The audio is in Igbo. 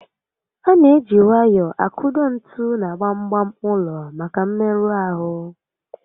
A na eji nwayọọ akụdo ntu na gbam gbam ụlọ maka mmerụ ahụ